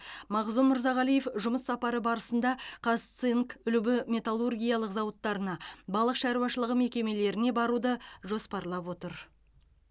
мағзұм мырзағалиев жұмыс сапары барысында казцинк үлбі металлургиялық зауыттарына балық шаруашылығы мекемелеріне баруды жоспарлап отыр